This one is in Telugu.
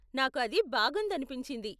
నాకు అది బాగుందనిపించింది.